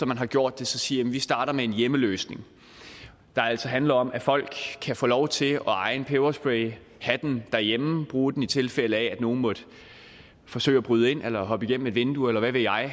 man har gjort det siger man at vi starter med en hjemmeløsning der altså handler om at folk kan få lov til at eje en peberspray have den derhjemme og bruge den i tilfælde af at nogle måtte forsøge at bryde ind eller hoppe igennem et vindue eller hvad ved jeg